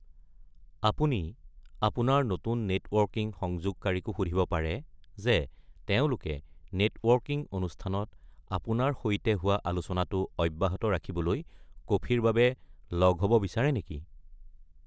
আপুনি আপোনাৰ নতুন নেটৱৰ্কিং সংযোগকাৰীকো সুধিব পাৰে যে তেওঁলোকে নেটৱৰ্কিং অনুষ্ঠানত আপোনাৰ সৈতে হোৱা আলোচনাটো অব্যাহত ৰাখিবলৈ কফিৰ বাবে লগ হ’ব বিচাৰে নেকি।